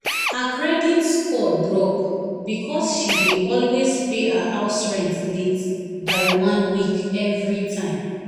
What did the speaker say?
her credit score drop because she dey always pay her house rent late by one week every time.